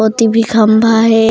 ओती भी खम्भा हे।